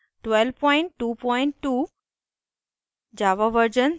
* jmol version 1222